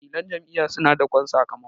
wakilan Jam'iyya suna dakon sakamako